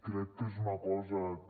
crec que és una cosa que